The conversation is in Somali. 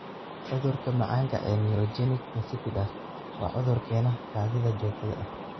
Cudurka macaanka ee neurogenic insipidus waa cudur keena kaadida joogtada ah.